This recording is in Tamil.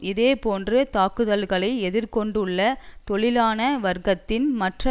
இதே போன்ற தாக்குதல்களை எதிர் கொண்டுள்ள தொழிலாள வர்க்கத்தின் மற்ற